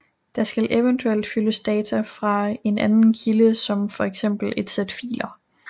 Der skal eventuelt fyldes data i fra en anden kilde som for eksempel et sæt filer